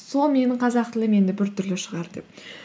сол менің қазақ тілім енді біртүрлі шығар деп